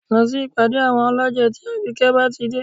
Lọ sí ìpàdé àwọn ọlọ́jẹ̀ tí àbíkẹ́ bá ti dé